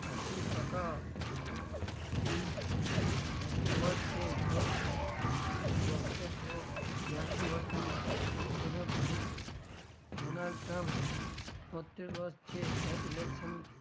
એસી ટકા એસી વધ છે ને election વખતે તેઓ બ્યાસી વર્ષના હશે ભૂતપૂર્વ donald trump છોતેર વર્ષ છે એ election